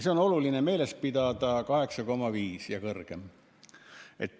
Seda on oluline meeles pidada: 8,5% ja kõrgem.